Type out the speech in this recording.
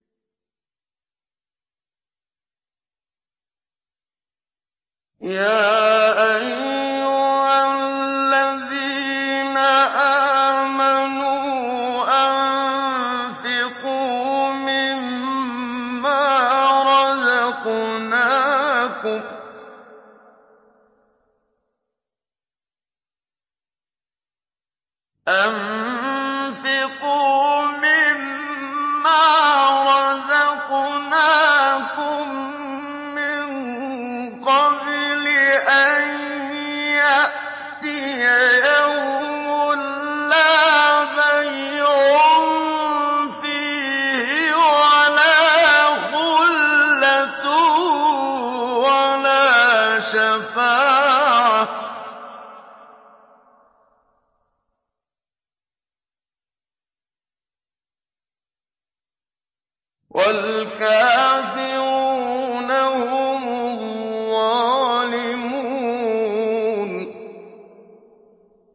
يَا أَيُّهَا الَّذِينَ آمَنُوا أَنفِقُوا مِمَّا رَزَقْنَاكُم مِّن قَبْلِ أَن يَأْتِيَ يَوْمٌ لَّا بَيْعٌ فِيهِ وَلَا خُلَّةٌ وَلَا شَفَاعَةٌ ۗ وَالْكَافِرُونَ هُمُ الظَّالِمُونَ